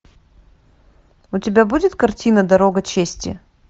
у тебя будет картина дорога чести